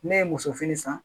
Ne ye muso fini san